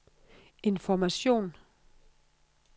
information